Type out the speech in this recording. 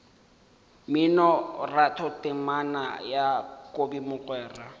mminoratho temana ya kobi mogwera